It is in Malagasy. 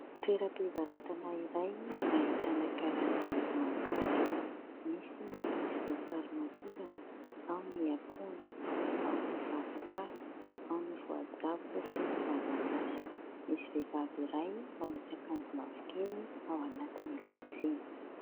Toeram-pivarotana iray ahitana karazana voankazo : misy ny voasarimakirana, ao ny akondro, ao ny zavoka, ao ny voajabo sy ny mananasy. Misy vehivavy iray manisy akanjo mavokely ao anatin'ilay tsena.